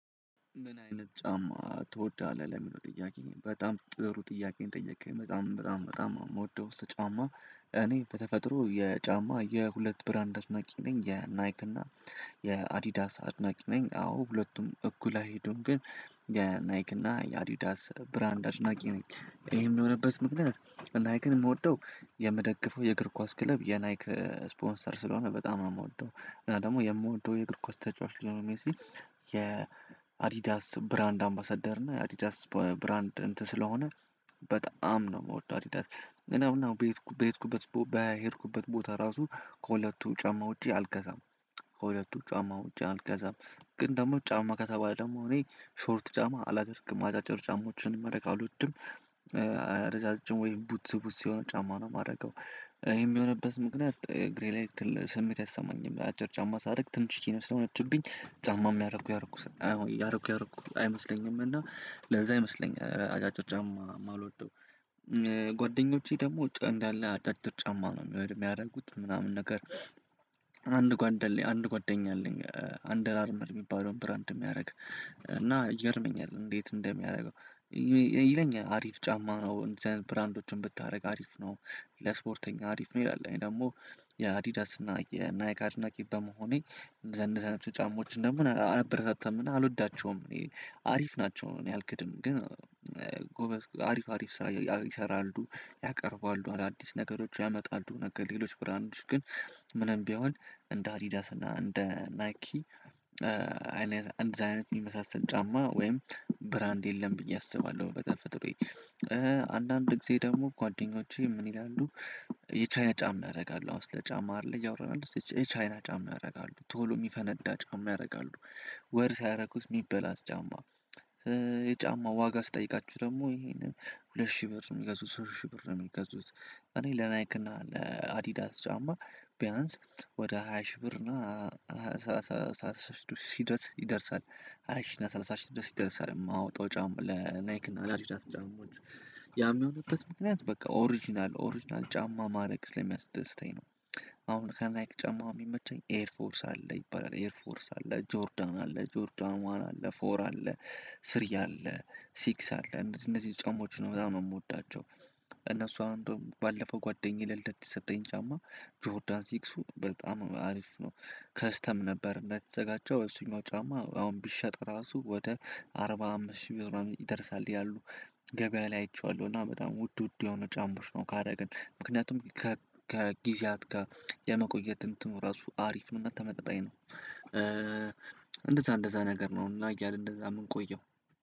ምን አይነት ጫማ ትወዳለህ? ለሚለው ጥያቄዬ በጣም ጥሩ ጥያቄን ጠየከኝ በጣም በጣም በጣም የምወደው ጫማ እኔ በተፈጥሮ የጫማ የሁለት ብራንድ አድናቂ ነኝ የናይክ እና የአዲዳስ አድናቂ ነኝ አዎ ሁለቱም እኩል አይሄዱም ግን የናይክ እና የአዲዳስ ብራንድ አድናቂ ነኝ ይሄም የሆነበት ምክንያት ናይክን የምወደው የምደግፈው የእግር ኳስ ክለብ የናይክ ስፖንሰር ስለሆነ በጣም ነው የምወደው እና ደግሞ የምወደው የእግር ኳስ ተጫዋች ሊዎኔል ሜሲ የአዲዳስ ብራንድ አምባሰደር እና የአዲዳስ ብራንድ እንትን ስለሆነ በጣም ነው የምወደው አዲዳስ እና አሁን በ በሄድኩበት በሄድኩበት ቦታ ራሱ ከሁለቱ ጫማ ውጪ አልገዛም ከሁለቱ ጫማ ውጪ አልገዛም ግን ደግሞ ጫማ ከተባለ ደግሞ እኔ ሾርት ጫማ አላደርግም አጫጭር ጫማዎችን ማረግ አልወድም እረጃጅም ወይም ቡት ቡትስ የሆን ጫማ ነው የማደርገው ይሄም የሆነበት ምክንያት እግሬ ላይ ስሜት አይሰማኝም አጭር ጫማ ሳደርግ ትንሽ ነው ስለሆነችብኝ ጫማም ያረኩ ያረኩ አዎ ያረኩ ያረኩ አይመስለኝም እና ለዛ ይመስለኛል አጫጭር ጫማ የማልወደው ጓደኞቼ ደግሞ እንዳለ አጫጭር ጫማ ነው የሚወድ የሚያደርጉት ምናምን ነገር አንድ ጓደኛ አለኝ አንደር አርመር የሚባለውን ብራንድ የሚያደርግ እና ይገርመኛል እንዴት እንደሚያደርገው ይለኛል አሪፍ ጫማ ነው እንደዚህ ብራንዶችን ብታደርግ አሪፍ ነው ለስፖርተኛ አሪፍ ነው ይላል ደግሞ የአዲዳስ እና የናይክ አድናቂ በመሆኔ እንደዚያ አይነት ጫማዎችን ደግሞ አላበረታታምና አልወዳቸውም እኔ አሪፍ ናቸው እኔ አልክድም ግን ጎበዝ አሪፍ አሪፍ ስራ ይሰራሉ ያቀርባሉ አዳዲስ ነገሮች ያመጣሉ ነገር ሌሎች ብራንድሽ ግን ምንም ቢሆን እንደ አዲዳስ እና እንደ ናይኪ አይነት እንደዛ አይነት የሚመሳሰል ጫማ ወይም ብራንድ የለም ብየ አስባለሁ በተፈጥሮዬ ጊዜ ደግሞ ጓደኞቼ ምን ይላሉ? የቻይና ጫማ ያደረጋሉ አሁን ስለጫማ አይደል እያወራን ያለው የቻ የቻይና ጫማ ያደርጋሉ ቶሎ የሚፈነዳ ጫማ ያደርጋሉ ወር ሳያደርጉት የሚበላሽ ጫማ የጫማው ዋጋ ስጠይቃችሁ ደግሞ ይሄንን ሁለት ሺህ ብር የሚገዙት ሶስት ሺህ ብር የሚገዙት እኔ ለናይክና ለአዲዳስ ጫማ ቢያንስ ወደ ሃያ ሺህ ብር እና ሺህ ድረስ ይደርሳል ሃያ ሺህ እና ሰላሳ ሺህ ድረስ ይደርሳል የማወጣው ጫማ ለናይክ እና ለአዲዳስ ጫማ የሚሆንበት ምክንያት በቃ ኦሪጅናል ኦሪጅናል ጫማ ማድረግ ስለሚያስደስተኝ ነው አሁን ከናይክ ጫማማ የሚመቸኝ ኤር ፎርስ አለ ይባላል ኤር ፎርስ አለ ጆርዳን አለ ጆርዳን ዋን አለ ፎር አለ ስሪ አለ ሲክስ አለ እነደዚህ እነዚህን ጫማዎችን ነው በጣም የምወዳቸው እነሱ አንዱም ባለፈው ጓደኛዬ ለልደት የሰጠኝ ጫማ ጆሮዳን ዚክሱ በጣም አሪፍ ነው ከስተም ነበር እንዳትዘጋጀው ወይ እሱኛው ጫማ አሁን ቢሸጥ ራሱ ወደ አርባ አምስት ሺህ ቢሆን ይደርሳል ያሉ ገበያ ላይ አይቼዋለሁ እና በጣም ውድ ውድ የሆነ ጫምዎች ነው ካደረግን ምክንያቱም ከጊዜያት ጋር የመቆየት እንትኑ ራሱ አሪፍ ነው እና ተመጣጣኝ ነው እንደዛ እንደዛ ነገር ነው እና እያል እንደዛ የምንቆየው